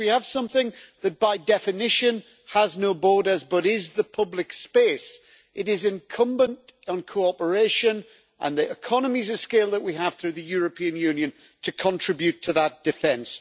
And if we have something that by definition has no borders but is the public space, it is incumbent on cooperation and the economies of scale that we have through the European Union to contribute to that defence.